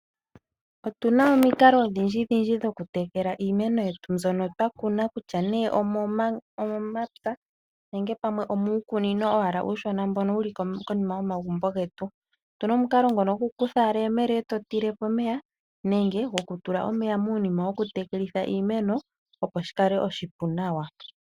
Otu na omikalo odhindji dhindji dhokutekela iimeno yetu mbyono twa kuna kutya nee omomapya nenge pamwe omuukunino wala uushona mbino wuli konima yomagumbo getu. Otu na omikalo ngono gwokukutha eyemele eto tile po omeya, nenge wokutula omeya muunima kotekelitha iimeno, opo shikale oshipu nawa.